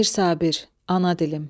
Mir Sabir, Ana dilim.